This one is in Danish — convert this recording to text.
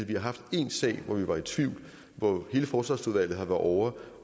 vi har haft en sag hvor vi var i tvivl og hvor hele forsvarsudvalget var ovre